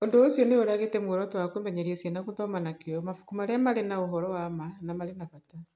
Ũndũ ũcio nĩ ũragĩte muoroto wa kũmenyeria ciana gũthoma na kĩyo mabuku marĩa marĩ na ũhoro wa ma na marĩ na bata.